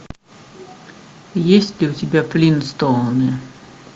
есть ли у тебя флинстоуны